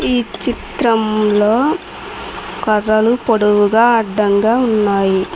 ఈ చిత్రంలో కర్రలు పొడవుగా అడ్డంగా ఉన్నాయి.